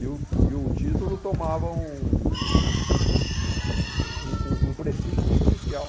E o e o título tomava um... um um um um prefixo especial.